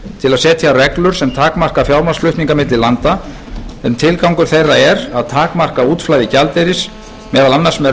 að setja reglur sem takmarka fjármagnsflutninga milli landa en tilgangur þeirra er að takmarka útflæði gjaldeyris meðal annars með